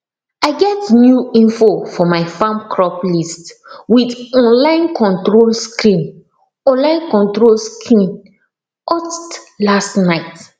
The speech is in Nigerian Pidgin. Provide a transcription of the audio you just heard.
i get new info for my farm crop list with online control screen online control screen ust last night